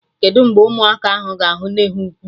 Kedụ mgbe ụmụaka ahụ ga-ahụ nne ha ukwu?